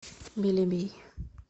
белебей